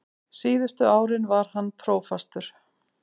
Síðustu árin var hann prófastur.